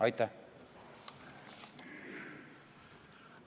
Aitäh!